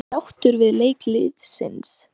Hann leggur tólið á og ávarpar rannsóknarnefndina.